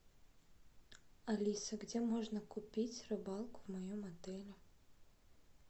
алиса где можно купить рыбалку в моем отеле